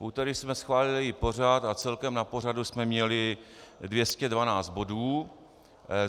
V úterý jsme schválili její pořad a celkem na pořadu jsme měli 212 bodů.